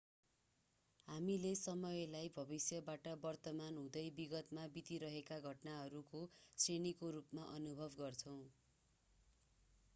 हामीले समयलाई भविष्यबाट वर्तमान हुँदै विगतमा बितिरहेका घटनाहरूको श्रेणीको रूपमा अनुभव गर्छौं